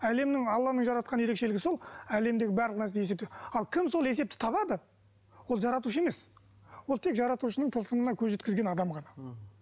әлемнің алланың жаратқан ерекшелігі сол әлемдегі барлық нәрсені есептеу ал кім сол есепті табады ол жаратушы емес ол тек жаратушының тылсымына көз жеткізген адам ғана м